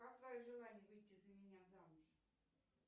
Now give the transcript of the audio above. как твое желание выйти за меня замуж